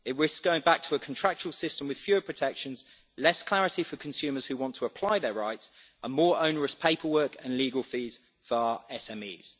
It risks going back to a contractual system with fewer protections, less clarity for consumers who want to apply their rights and more onerous paperwork and legal fees for our SMEs.